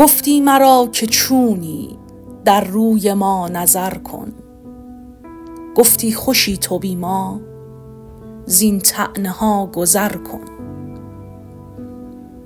گفتی مرا که چونی در روی ما نظر کن گفتی خوشی تو بی ما زین طعنه ها گذر کن